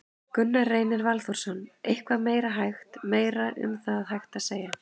Gunnar Reynir Valþórsson: Eitthvað meira hægt, meira um það hægt að segja?